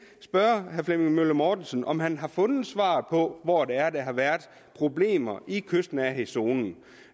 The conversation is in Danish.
spørge herre flemming møller mortensen om han har fundet svaret på hvor det er der har været problemer i kystnærhedszonen